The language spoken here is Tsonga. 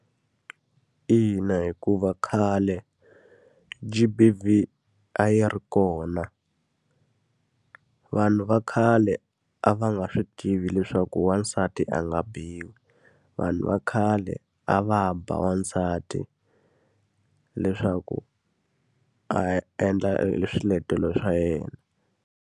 Ina hikuva khale G_B_V a yi ri kona. Vanhu va khale a va nga swi tivi leswaku wansati a u nga biwi. Vanhu va khale a va ba wansati leswaku a endla eswiletelo swa yena.